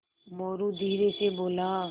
मोरू धीरे से बोला